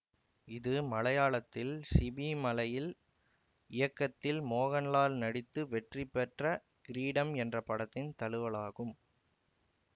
இது மலையாளத்தில் சிபி மலயில் இயக்கத்தில் மோகன்லால் நடித்து வெற்றி பெற்ற கிரீடம் என்ற படத்தின் தழுவலாகும்